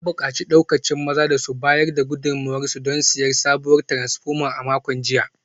An bukaci daukacin mazan da su bayar da gudunmuwarsu don siyan sabuwar taransfoma a makon jiya